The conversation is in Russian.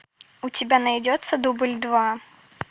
у тебя найдется дубль два